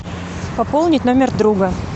пополнить номер друга